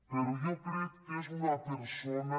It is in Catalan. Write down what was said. però jo crec que és una persona